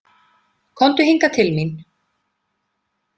Komdu hingað til mín!